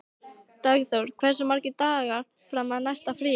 Dagþór, hversu margir dagar fram að næsta fríi?